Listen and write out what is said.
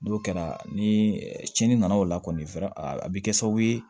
N'o kɛra ni cɛnni nana o la kɔni a bɛ kɛ sababu ye